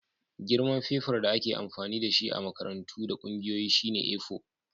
Girman fefar da ake amfani da shi a makarantu da ƙungiyoyi shine A4.